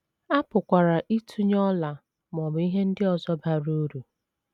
A pụkwara ịtụnye ọla ma ọ bụ ihe ndị ọzọ bara uru.